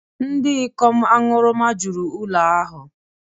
Ndị ikom aṅụrụma juru ụlọ ahụ